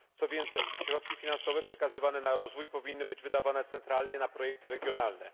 Co więcej, środki finansowe przekazywane na rozwój powinny być wydawane centralnie na projekty regionalne.